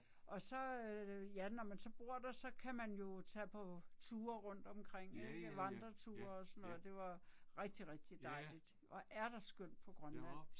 Og så ja når man så bor der så kan man jo tage på ture rundtomkring ik, vandreture og sådan noget det var rigtig rigtig dejligt, hvor er der skønt på Grønland